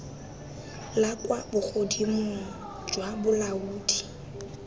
la kwa bogodimong jwa bolaodi